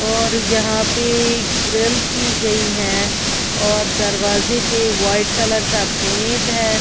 और यहां पे ग्रिल की गई है और दरवाजे पे वाइट कलर का पेंट है।